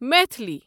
Maithili